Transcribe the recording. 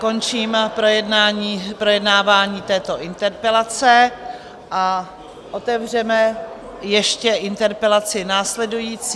Končím projednávání této interpelace a otevřeme ještě interpelaci následující.